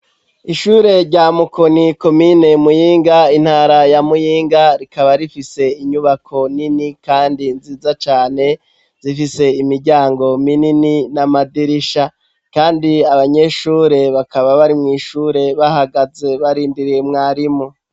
Ishure rya Mukoni komine Muyinga intara ya Muyinga rikaba rifise inyubako nini kandi nziza cane zifise imiryango minini n'amadirisha kandi abanyeshure bakaba bari mw'ishure bahagaze barindiriye mwarimu